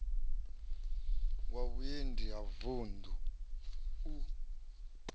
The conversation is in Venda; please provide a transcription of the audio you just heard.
wa vhuendi wa vuṋdu u